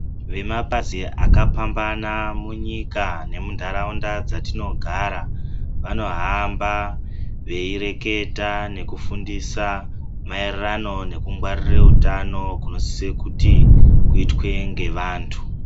Vemapazi akapambana munyika nemundaraunda dzatinogara, vanohamba veireketa nekufundisa maererano nekungwarira utano kunosiswe kuti kuitwe ndevandu.